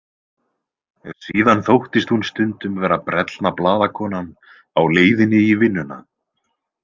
Síðan þóttist hún stundum vera brellna blaðakonan á leiðinni í vinnuna.